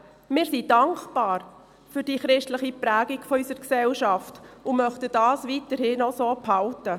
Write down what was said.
Wir sind für die christliche Prägung unserer Gesellschaft dankbar und möchten diese auch weiterhin so behalten.